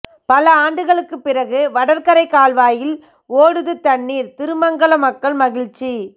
பல ஆண்டுகளுக்கு பிறகு வடகரை கால்வாயில் ஓடுது தண்ணீர் திருமங்கலம் மக்கள் மகிழ்ச்சி